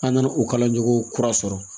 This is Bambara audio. An nana o kalanjo kura sɔrɔ